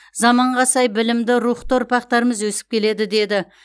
заманға сай білімді рухты ұрпақтарымыз өсіп келеді деді